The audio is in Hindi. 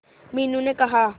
मीनू ने कहा